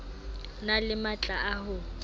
na le matla a ho